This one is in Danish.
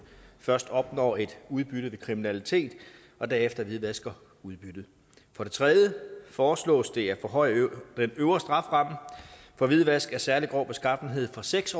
først opnår et udbytte ved kriminalitet og derefter hvidvasker udbyttet for det tredje foreslås det at forhøje den øvre strafferamme for hvidvask af særlig grov beskaffenhed fra seks